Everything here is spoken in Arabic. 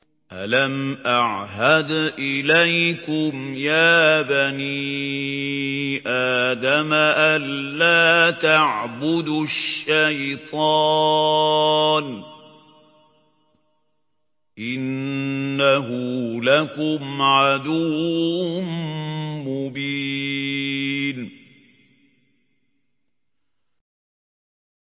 ۞ أَلَمْ أَعْهَدْ إِلَيْكُمْ يَا بَنِي آدَمَ أَن لَّا تَعْبُدُوا الشَّيْطَانَ ۖ إِنَّهُ لَكُمْ عَدُوٌّ مُّبِينٌ